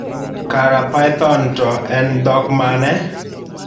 Kara Python to en dhok mane?